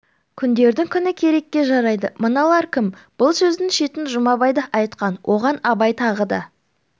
күндердің күні керекке жарайды мыналар кім бұл сөздің шетін жұмабай да айтқан оған абай тағы да